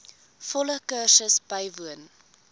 volle kursus bywoon